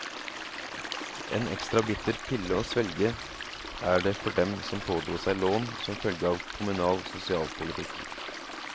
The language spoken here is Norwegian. En ekstra bitter pille å svelge er det for dem som pådro seg lån som følge av kommunal sosialpolitikk.